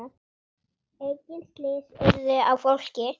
Engin slys urðu á fólki.